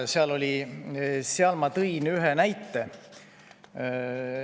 Siis ma tõin ühe näite.